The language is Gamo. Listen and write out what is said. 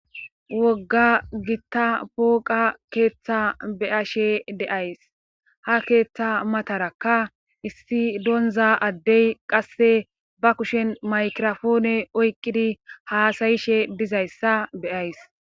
wogga gitta pooqa keeththa beyashe deays ha keeththa matarakka issi donza addey qasse ba kushen maykirofoone oyqqidi haasayishe dizayssa beyays